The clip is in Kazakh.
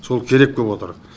сол керек боп отыр